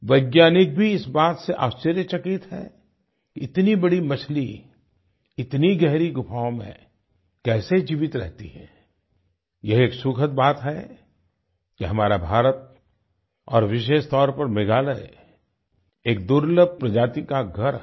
वैज्ञानिक भी इस बात से आश्चर्यचकित हैं कि इतनी बड़ी मछली इतनी गहरी गुफाओं में कैसे जीवित रहती है यह एक सुखद बात है कि हमारा भारत और विशेष तौर पर मेघालय एक दुर्लभ प्रजाति का घर है